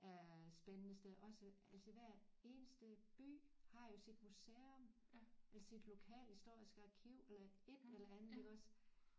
Af spændende steder også altså hver eneste by har jo sit museum eller sit lokalhistoriske arkiv eller et eller andet iggås